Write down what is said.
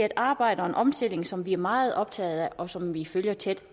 et arbejde og en omstilling som vi er meget optaget af og som vi følger tæt